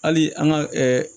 Hali an ka ɛɛ